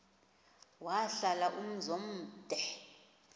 wahlala umzum omde